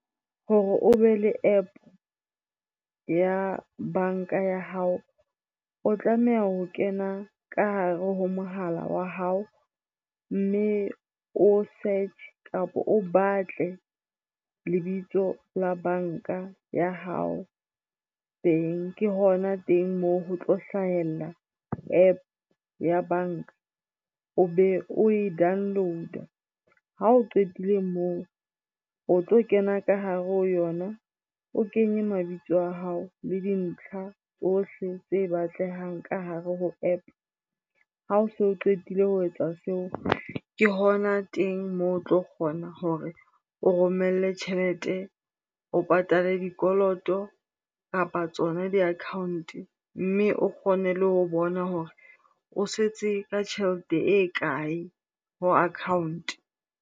Hore o be le App ya banka ya hao, o tlameha ho kena ka hare ho mohala wa hao mme o search kapa o batle lebitso la banka ya hao teng. Ke hona teng moo ho tlo hlahella App ya banka o be o e download-a. Ha o qetile moo o tlo kena ka hare ho yona, o kenye mabitso a hao le dintlha tsohle tse batlehang ka hare ho App. Ha o so qetile ho etsa seo ke hona teng moo o tlo kgona hore o romelle tjhelete, o patale dikoloto kapa tsona di-account-e mme o kgone le ho bona hore o setse ka tjhelete e kae ho account-e.